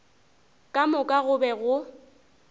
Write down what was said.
ka moka go be go